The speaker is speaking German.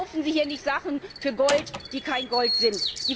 Verkaufen Sie hier nicht Sachen für Gold, die kein Gold sind.